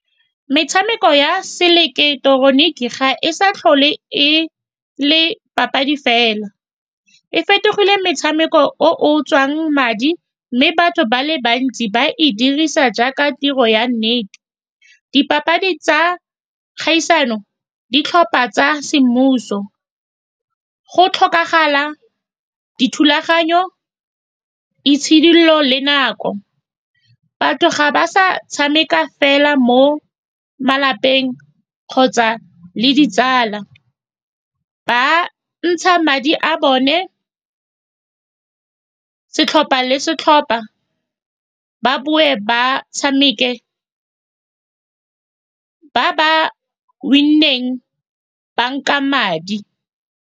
Metshameko ya seileketeroniki ga e sa tlhole e le papadi fela, e fetogile metshameko o o tswang madi, mme batho ba le bantsi ba e dirisa jaaka tiro ya nnete. Dipapadi tsa kgaisano, ditlhopha tsa semmuso, go tlhokagala dithulaganyo itšhidolola le nako. Batho ga ba sa tshameka fela mo malapeng kgotsa le ditsala, ba ntsha madi a bone setlhopha le setlhopha, ba bo ba tshameke, ba ba win_neng ba nka madi.